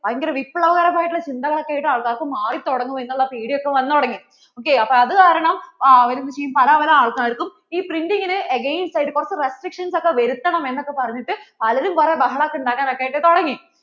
ഭയങ്കര വിപ്ലവകരമായിട്ടുള്ള ചിന്തകൾ ആയിട്ട് ആൾകാർ മാറി തുടങ്ങും എന്ന് ഒക്കെ ഉള്ള പേടി ഒക്കെ വന്നു തുടങ്ങി ok അപ്പോൾ അതുകാരണം അവർ ഇ പല പല ആൾക്കാർക്കും ഇ printing നു against ആയിട്ട് കുറച്ചു restricition ഒക്കെ വരുത്തണം എന്ന് ഒക്കെ പറഞ്ഞിട്ട് പലരും കുറേ ബഹളം ഒക്കെ ഉണ്ടാക്കാനായിട്ട് തുടങ്ങി.